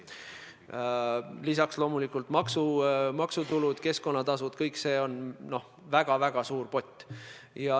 Lisaks loomulikult maksutulud, keskkonnatasud – kõik see on väga-väga suur pott.